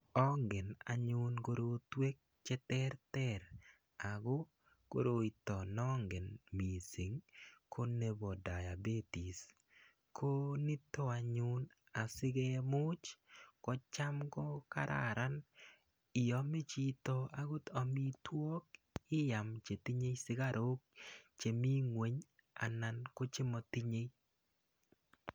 Angen anyun korotwek che terter ako koroito ne angen missing' ko nepa diabetes , ko nito anyun asikemuch ko cham ko kararan iame chito amitwogik, iam che tinye sukaruk chemi ng'weny anan ko che matinyei.